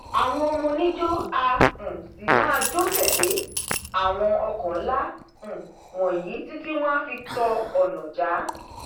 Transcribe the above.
àwọn ọmọ oníjó a um sì máa jó tẹlé àwọn ọkọ nla um wọnyí títí wọn á fi tọ ọnà já